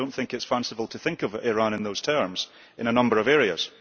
I do not think it is fanciful to think of Iran in those terms in a number of areas.